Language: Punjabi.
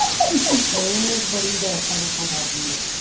ਏਹ ਬੜੀ ਗੈਸਾਂ ਗੁਸਾ ਛੱਡਦੀ ਐ